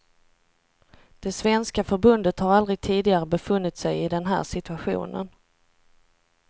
Det svenska förbundet har aldrig tidigare befunnit sig i den här situationen.